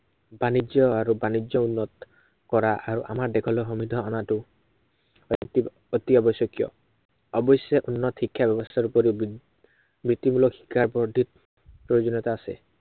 বাণিজ্য় আৰু বাণিজ্য় উন্নত, কৰাত আৰু আমাৰ দেশলৈ সমৃদ্ধ অনাটো এক অতি আৱশ্য়কীয়। অৱশ্য়ে উন্নত শিক্ষাৰ ব্যৱস্থাৰ উপৰিও বৃত্তিমূলক শিক্ষাৰ বৰ্ধিত প্ৰয়োজনীয়তা আছে।